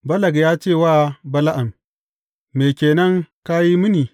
Balak ya ce wa Bala’am, Me ke nan ka yi mini?